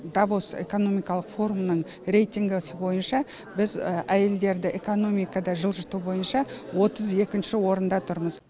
давос экономикалық форумының рейтингісі бойынша біз әйелдерді экономикада жылжыту бойынша отыз екінші орында тұрмыз